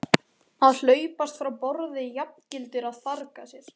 Að hlaupast frá borði jafngildir að farga sér.